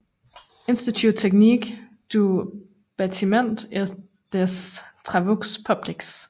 Institut technique du batiment et des travaux publics